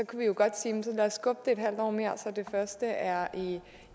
kunne jo godt sige lad os skubbe det halvt år mere så det først er